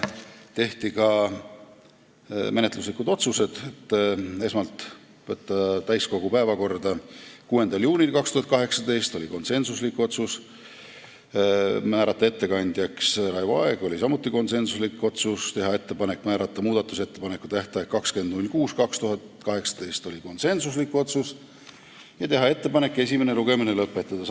Tehti ka menetluslikud otsused: esmalt, võtta eelnõu täiskogu päevakorda 6. juuniks 2018 , määrata ettekandjaks Raivo Aeg , teha ettepanek määrata muudatusettepanekute tähtajaks 20. juuni 2018 ja teha ettepanek esimene lugemine lõpetada .